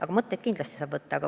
Aga mõtteid sealt kindlasti saab.